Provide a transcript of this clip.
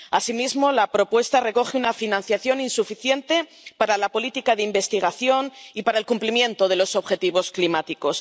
Asimismo, la propuesta recoge una financiación insuficiente para la política de investigación y para el cumplimiento de los objetivos climáticos.